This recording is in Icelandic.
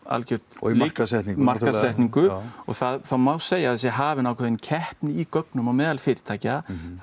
og markaðssetningu já markaðssetningu og það má segja að það sé hafin ákveðin keppni í gögnum meðal fyrirtækja það